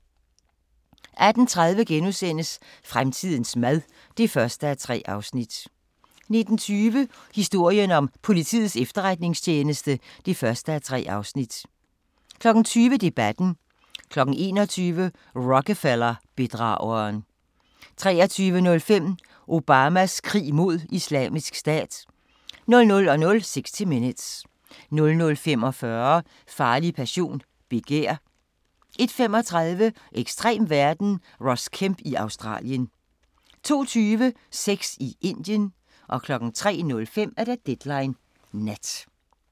18:30: Fremtidens mad (1:3)* 19:20: Historien om Politiets Efterretningstjeneste (1:3) 20:00: Debatten 21:00: Rockefeller-bedrageren 23:05: Obamas krig mod Islamisk Stat 00:00: 60 Minutes 00:45: Farlig passion – begær 01:35: Ekstrem verden – Ross Kemp i Australien 02:20: Sex i Indien 03:05: Deadline Nat